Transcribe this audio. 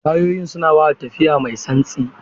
Tayoyin suna ba da tafiya mai santsi.